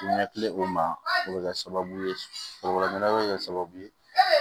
Ɲɛkilen o ma o bɛ kɛ sababu ye foroba ɲɛna bi kɛ sababu ye